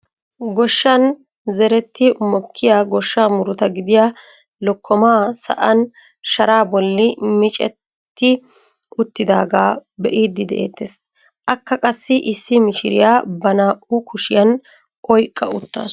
Goshshan zeretti mokkiyaa goshshaa muruta gidiyaa lokkomaa sa'an sharaa bolli micetti uttidagaa be'iidi de'ettees. akka qassi issi mishiriyaa ba naa"u kushiyaan oyqqa uttasu.